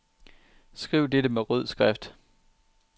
Skriv dette med rød skrift.